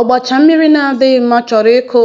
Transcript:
“Ọgbacha mmiri na-adịghị mma chọrọ ịkụ